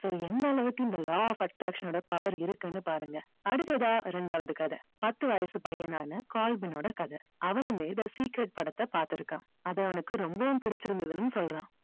so எந்த அளவுக்கு இந்த law of attraction ஓட power இருக்குன்னு பாருங்க. அடுத்ததா ரெண்டாவது கதை பத்து வயசு பையனான கால்வின் ஓட கதை. அவனுமே இந்த secret படத்தை பாத்துருக்கான் அது அவனுக்கு ரொம்பவும் புடிச்சி இருந்ததுன்னும் சொல்றான்.